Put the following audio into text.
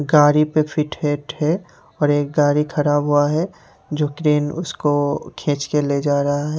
गाड़ी पे फिट हेठ है और एक गाड़ी खराब हुआ है जो क्रेन उसको खींच कर ले जा रहा है।